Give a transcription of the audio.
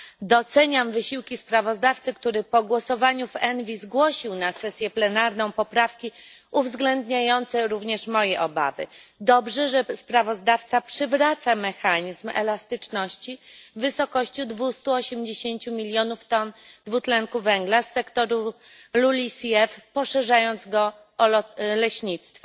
Doceniam wysiłki sprawozdawcy, który po głosowaniu w komisji ENVI zgłosił na sesję plenarną poprawki uwzględniające również moje obawy. Dobrze, że sprawozdawca przywraca mechanizm elastyczności w wysokości 280 milionów ton dwutlenku węgla z sektora LULUCF, poszerzając go o leśnictwo.